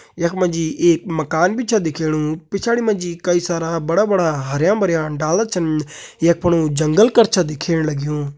यख मजी एक मकान बि छ दिखेणु। पिछाड़ि मजी कई सारा बड़ा बड़ा हरयां भरयां डाला छन। यख फणू जंगल कर छ दिखेण लग्युं।